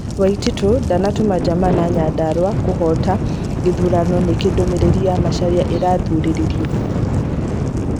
Waititu 'ndanatuma njama na Nyandarua' kũhota gĩthurano Nĩkĩĩ ndũmĩrĩri ya Macharia ĩrathuthurio?